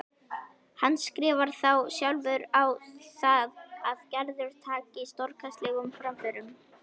Handskrifar þá sjálfur á það að Gerður taki stórkostlegum framförum.